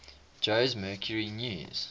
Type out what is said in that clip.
jose mercury news